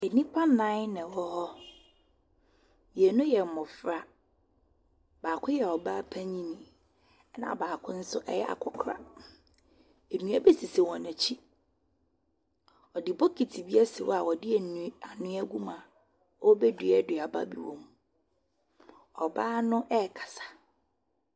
Nnipa nnan na wɔwɔ hɔ. Mmienu yɛ mmɔfra. Baako yɛ ɔbaa panin, ɛnna baako nso yɛ akɔkora. Nnua bi sisi wɔn akyi. Wɔde bokiti asi hɔ a wɔde an anweɛ agum a wɔrebɛdua aduaba bi wom. Ɔbaa no rekasa.